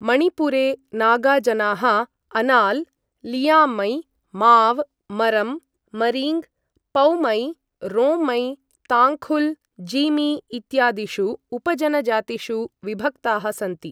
मणिपुरे नागा जनाः अनाल्, लियांमै, माव्, मरम्, मरीङ्ग्, पौमै, रोंमै, ताङ्खुल्, जीमी इत्यादिषु उपजनजातिषु विभक्ताः सन्ति।